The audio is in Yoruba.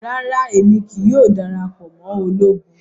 Rara Emi kii yoo darapọ mọ ologun